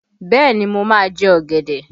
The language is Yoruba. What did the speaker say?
Bẹẹ ni, mo máa jẹ ọ̀gẹ̀dẹ̀